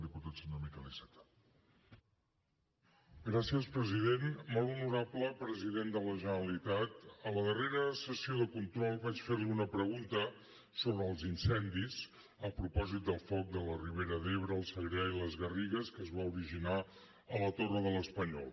molt honorable president de la generalitat a la darrera sessió de control vaig fer li una pregunta sobre els incendis a propòsit del foc de la ribera d’ebre el segrià i les garrigues que es va originar a la torre de l’espanyol